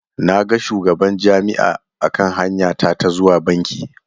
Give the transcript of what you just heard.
Na ga shugaban Jami'a a kan hanya ta ta zuwa banki.